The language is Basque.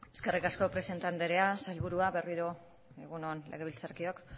eskerrik asko presidente andrea sailburu berriro egun on legebiltzarkideok